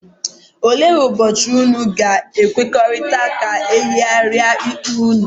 Ole ụbochi ụnụ ga-ekwekọrịta ka eyigaria ikpe unu?,